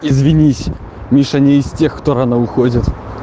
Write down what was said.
извинись миша не из тех кто рано уходит